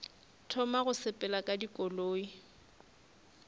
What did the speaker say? thoma go sepela ka dikoloi